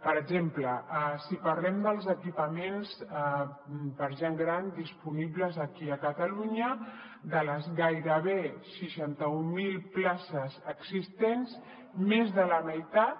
per exemple si parlem dels equipaments per a gent gran disponibles aquí a catalunya de les gairebé seixanta mil places existents més de la meitat